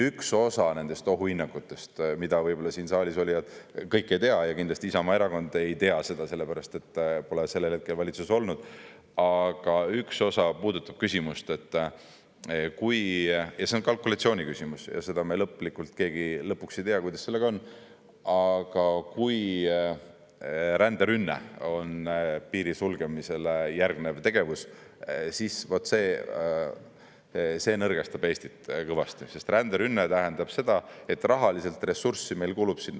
Üks osa nendest ohuhinnangutest, mida võib-olla siin saalis olijad kõik ei tea – ja kindlasti Isamaa Erakond ei tea, sellepärast et nad ei olnud sellel hetkel valitsuses –, puudutab küsimust, see on kalkulatsiooniküsimus ja seda me lõplikult keegi ei tea, kuidas sellega on, aga kui ränderünne on piiri sulgemisele järgnev tegevus, siis vaat see nõrgestab Eestit kõvasti, sest ränderünne tähendab seda, et meil kulub sinna rahalist ressurssi.